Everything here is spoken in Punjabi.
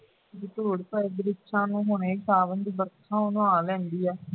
ਧੂੜ ਚ ਵਰਿਕਸ਼ਸਾ ਨੂੰ ਸਾਵਣ ਦੀ ਵਰਖਾ ਨਾਲ ਨਵਾ ਹਾ ਲੈਂਦੀ ਹੈ